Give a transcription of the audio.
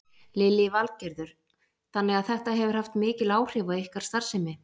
Lillý Valgerður: Þannig að þetta hefur haft mikil áhrif á ykkar starfsemi?